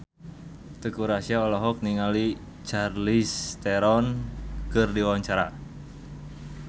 Teuku Rassya olohok ningali Charlize Theron keur diwawancara